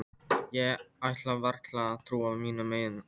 Ég ætlaði varla að trúa mínum eigin eyrum.